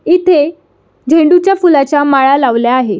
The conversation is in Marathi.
इथे झेंडू च्या फुलाच्या माळा लावल्या आहे.